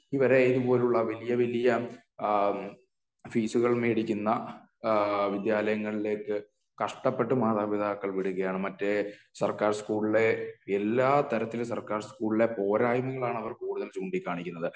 ഇവരെയും പോലുള്ള വല്യ വല്യ അഹമ് ഫീസുകൾ മേടിക്കുന്ന ആഹ് വിദ്യാലയങ്ങളിലേക്ക് കഷ്ടപ്പെട്ട് മാതാപിതാക്കൾ വിടുകയാണ് മറ്റേ സർക്കാർ സ്കൂളിലെ എല്ലാ തരത്തിലെ സർക്കാർ സ്കൂളിലെ പോരായ്മകൾ ആണ് അവർ കൂടുതൽ ചൂണ്ടിക്കാണിക്കുന്നത്